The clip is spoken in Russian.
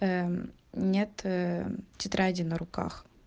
нет тетради на руках